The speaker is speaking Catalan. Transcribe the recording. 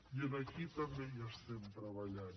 i aquí també hi estem treballant